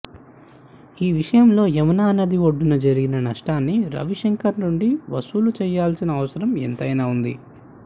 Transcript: ఈ విషయంలో యమునా నది ఒడ్డున జరిగిన నష్టాన్ని రవిశంకర్ నుండి వసూలుచేయాల్సిన అవసరం ఎంతైనా వుంది